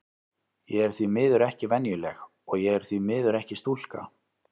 Ég er því miður ekki venjuleg, og ég er því miður ekki stúlka.